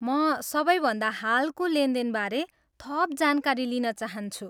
म सबैभन्दा हालको लेनदेनबारे थप जानकारी लिन चाहन्छु।